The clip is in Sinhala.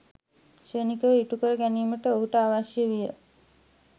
ක්‍ෂණිකව ඉටු කර ගැනීමට ඔහුට අවශ්‍ය විය.